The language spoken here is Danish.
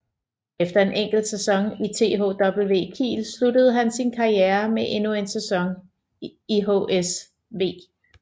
Efter en enkelt sæson i THW Kiel sluttede han sin karriere med endnu en sæson i HSV